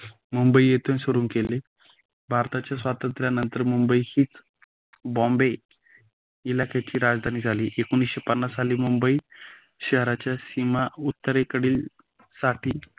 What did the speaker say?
मुंबईतून सुरू केले भारताचे स्वतंत्र नंतर मुंबईही बॉम्बे इलाख्याची राजधानी झाली. एकोणीसशे पन्नास साली मुंबई शहराचे सीमा उत्तरेकडील साठी